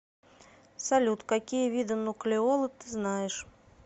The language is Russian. салют какие виды нуклеолы ты знаешь